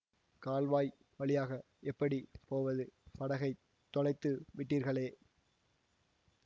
கால்வாய் வழியாக எப்படி போவது படகைத் தொலைத்து விட்டீர்களே